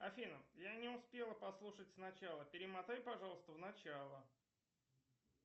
афина я не успела послушать сначала перемотай пожалуйста в начало